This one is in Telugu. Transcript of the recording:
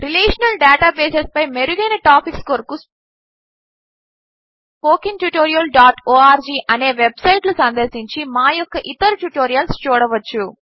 రిలేషనల్ డేటాబేస్ పై మెరుగైన టాపిక్స్ కొరకు స్పోకెన్ tutorialఆర్గ్ httpspoken tutorialorg అనే వెబ్సైట్లు సందర్శించి మా యొక్క ఇతర ట్యుటోరియల్స్ చూడవచ్చు